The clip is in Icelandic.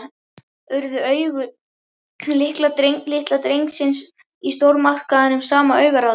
Urðu augu litla drengsins í stórmarkaðnum, sama augnaráðið.